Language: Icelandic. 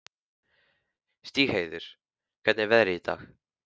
Stígheiður, hvernig er veðrið í dag?